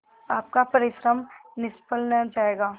आपका परिश्रम निष्फल न जायगा